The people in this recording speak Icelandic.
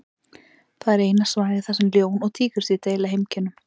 Það er eina svæðið þar sem ljón og tígrisdýr deila heimkynnum.